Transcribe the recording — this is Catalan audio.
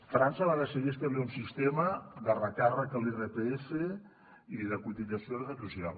frança va decidir establir un sistema de recàrrec a l’irpf i de cotització a la seguretat social